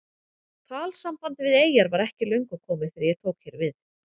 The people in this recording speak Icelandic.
Talsamband við eyjar var ekki löngu komið þegar ég tók hér við.